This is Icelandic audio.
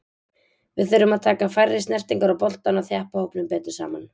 Við þurfum að taka færri snertingar á boltann og þjappa hópnum betur saman.